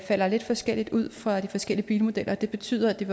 falder lidt forskelligt ud for de forskellige bilmodeller og det betyder at det